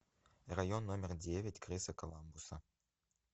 район номер девять криса коламбуса